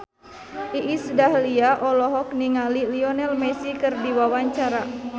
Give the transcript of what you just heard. Iis Dahlia olohok ningali Lionel Messi keur diwawancara